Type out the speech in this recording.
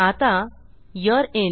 आता यूरे इन